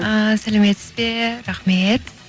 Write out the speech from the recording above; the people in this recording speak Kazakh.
ыыы сәлеметсіз бе рахмет